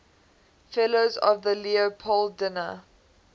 fellows of the leopoldina